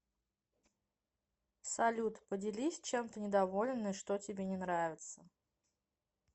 салют поделись чем ты недоволен и что тебе не нравиться